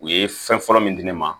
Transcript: U ye fɛn fɔlɔ min di ne ma